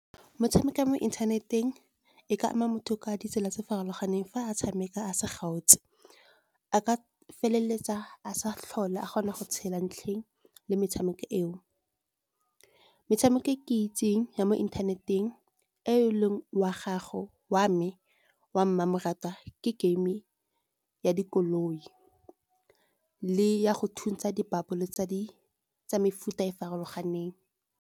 Metshameko ya mo inthaneteng e ka ama motho ka ditsela tse di farologaneng, fa a tshameka a sa kgaotse. A ka feleletsa a sa tlhole a kgona go tshela ntlheng le metshameko eo, metshameko e ke itseng ya mo inthaneteng e leng wa me wa mmamoratwa, ke game ya dikoloi le ya go thuntsa di-bubble tsa mefuta e farologaneng.